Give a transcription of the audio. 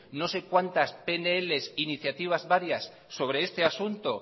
no sé cuantas pnls iniciativas varias sobre este asunto